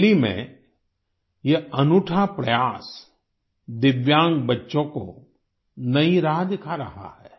बरेली में यह अनूठा प्रयास दिव्यांग बच्चों को नई राह दिखा रहा है